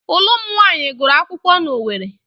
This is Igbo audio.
Ụlụ m nwaanyị gụrụ akwụkwọ n'Owere.